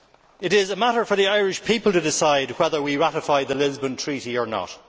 It is a matter for the Irish people to decide whether we ratify the Lisbon Treaty or not.